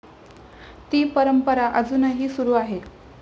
ती परंपरा अजूनही सुरू आहे.